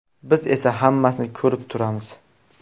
Biz esa hammasini ko‘rib turamiz.